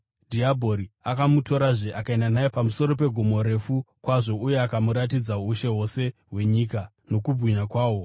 Dhiabhori akamutorazve akaenda naye pamusoro pegomo refu kwazvo uye akamuratidza ushe hwose hwenyika nokubwinya kwahwo,